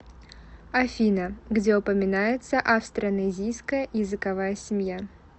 афина где упоминается австронезийская языковая семья